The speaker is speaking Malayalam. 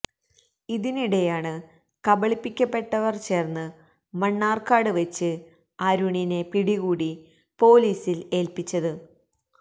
ഇതിനിടെയാണ് കബളിക്കപെട്ടവര് ചേര്ന്ന് മണ്ണാര്ക്കാട് വെച്ച് അരുണിനെ പിടികൂടി പൊലിസില് ഏല്പിച്ചത്